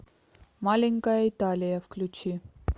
маленькая италия включи